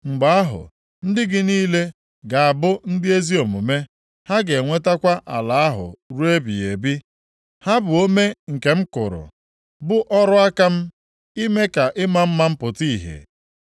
Mgbe ahụ, ndị gị niile ga-abụ ndị ezi omume, ha ga-enwetakwa ala ahụ ruo ebighị ebi. Ha bụ ome nke m kụrụ, bụ ọrụ aka m, ime ka ịma mma m pụta ìhè.